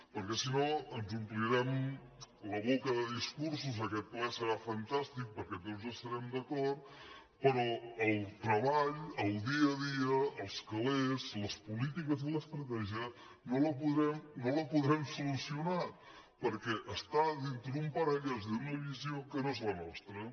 per·què si no ens omplirem la boca de discursos aquest ple serà fantàstic perquè tots estarem d’acord però el treball el dia a dia els calés les polítiques i l’estratè·gia no ho podrem solucionar perquè està dintre d’un paraigua d’una visió que no és la nostra